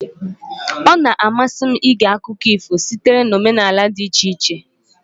Ọ na-amasị m ige akụkọ ifo sitere na omenala dị iche iche.